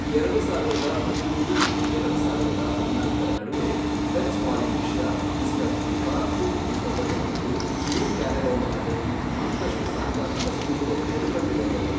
ಎರಡು ಸಾವಿರದ ಹದಿಮೂರು ಮತ್ತು ಎರಡು ಸಾವಿರದ ಹದಿನಾಲ್ಕರ ನಡುವೆ, ಫ್ರೆಂಚ್ ಪಾಲಿನೀಷ್ಯಾ, ಈಸ್ಟರ್ ದ್ವೀಪ, ಕುಕ್ ದ್ವೀಪಗಳು ಮತ್ತು ನ್ಯೂ ಕ್ಯಾಲೆಡೋನಿಯಾದಲ್ಲಿ ಮತ್ತಷ್ಟು ಸಾಂಕ್ರಾಮಿಕ ಸೋಂಕುರೋಗಗಳು ಕಂಡು ಬಂದವು.